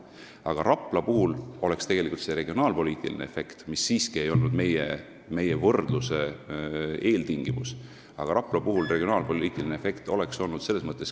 Aga Rapla puhul oleks tegelikult see regionaalpoliitiline efekt, mis siiski ei olnud meie võrdluse eeltingimus, küsitav olnud.